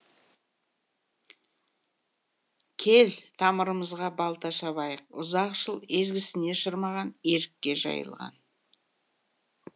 кел тамырымызға балта шабайық ұзақ жыл езгісіне шырмаған ерікке жайылған